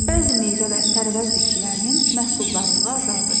Bəzi meyvə və tərəvəz bitkilərinin məhsuldarlığı azaldı.